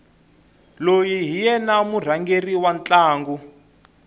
loyi hi yena murhangeri wa ntlangu